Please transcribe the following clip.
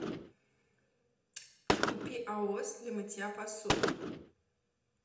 купи аос для мытья посуды